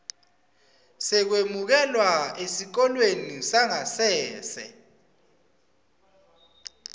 sekwemukelwa esikolweni sangasese